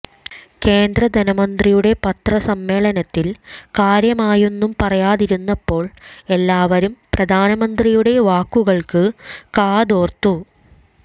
കേന്ദ്രധനമന്ത്രിയുടെ പത്രസമ്മേളനത്തിൽ കാര്യമായൊന്നും പറയാതിരുന്നപ്പോൾ എല്ലാവരും പ്രധാനമന്ത്രിയുടെ വാക്കുകൾക്ക് കാതോർത്തു